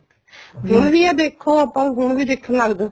ਹੁਣ ਵੀ ਆ ਦੇਖੋ ਹੁਣ ਵੀ ਦੇਖਣ ਲੱਗ ਜੋ